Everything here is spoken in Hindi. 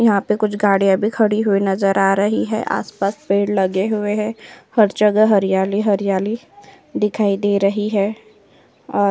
यहाँ पे कुछ गाडियाँ भी खड़ी हुई नजर आ रही है। आसपास पेड़ लगे हुए है। हर जगह हरियाली हरियाली दिखाई दे रही है और --